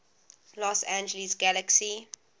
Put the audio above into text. los angeles galaxy